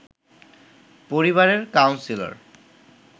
পরিবারের কাউন্সিলর